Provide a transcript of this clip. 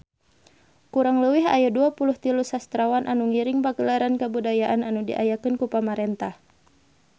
Kurang leuwih aya 23 sastrawan anu ngiring Pagelaran Kabudayaan anu diayakeun ku pamarentah